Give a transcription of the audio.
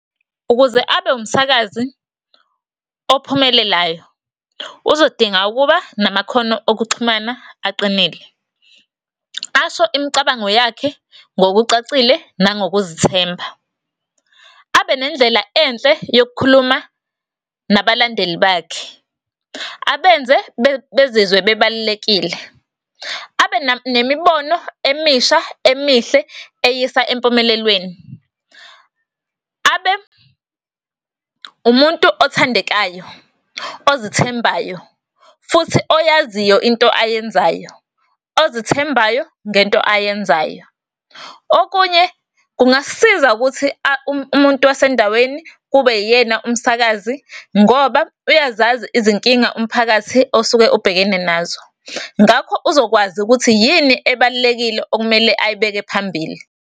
Ukuze abe umsakazi ophumelalayo, uzodinga ukuba namakhono okuxhumana aqinile. Asho imicabango yakhe ngokucacile, nangokuzithemba. Abe nendlela enhle yokukhuluma nabalandeli bakhe, abenze bezizwe bebalulekile. Abe nemibono emisha, emihle, eyisa empumelelweni. Abe umuntu othandekayo, ozithembayo, futhi oyaziyo into ayenzayo, ozithembayo ngento ayenzayo. Okunye, kungasisiza ukuthi, umuntu wasendaweni kube uyena umsakazi, ngoba uyazazi izinkinga umphakathi osuke ubhekene nazo. Ngakho, uzokwazi ukuthi yini ebalulekile okumele ayibeke phambili.